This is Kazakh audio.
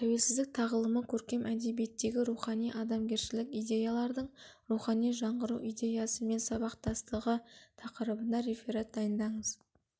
тәуелсіздік тағылымы көркем әдебиеттегі рухани-адамгершілік идеялардың рухани жаңғыру идеясымен сабақтастығы тақырыбында реферат дайындаңыз